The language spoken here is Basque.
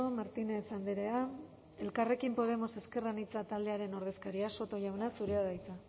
martínez andrea elkarrekin podemos ezker anitza taldearen ordezkaria soto jauna zurea da hitza